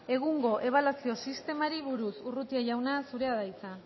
egungo ebaluazio sistemari buruz urrutia jauna zurea da hitza